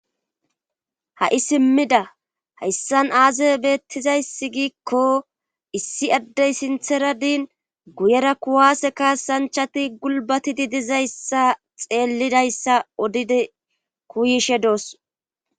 ha7i simmida hayssan aaze beettizayssi giikko issi addey sintheradin guyera kuwaase ka sanchati gulbatidi dizayssa xeellidayssa odide kuyishe doos